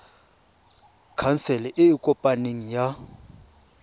khansele e e kopaneng ya